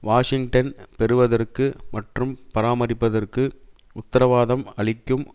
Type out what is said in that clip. Washington பெறுவதற்கு மற்றும் பராமரிப்பதற்கு உத்தரவாதம் அளிக்கும்